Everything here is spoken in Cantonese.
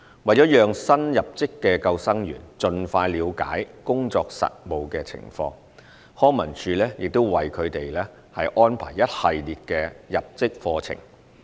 為了讓新入職的救生員盡快了解工作實務情況，康文署亦會為他們安排一系列的入職課程。